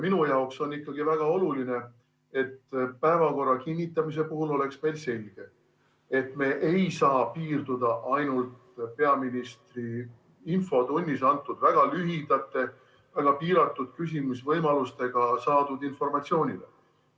Minu jaoks on väga oluline, et päevakorra kinnitamise puhul oleks meil selge, et me ei saa piirduda ainult peaministri infotunnis antud väga lühikeste vastustega ja väga piiratud küsimisvõimaluste peale saadud informatsiooniga.